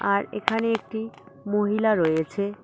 আর এখানে একটি মহিলা রয়েছে।